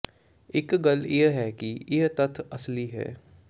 ਇਕ ਗੱਲ ਇਹ ਹੈ ਕਿ ਇਹ ਤੱਥ ਅਸਲੀ ਹੈ